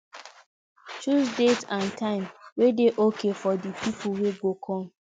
choose date and time wey dey okay for di pipo wey go come